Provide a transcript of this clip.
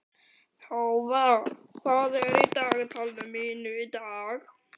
Tófa, hvað er á dagatalinu mínu í dag?